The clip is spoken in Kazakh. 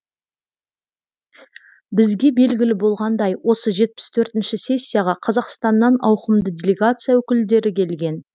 бізге белгілі болғандай осы жетпіс төртінші сессияға қазақстаннан ауқымды делегация өкілдері келген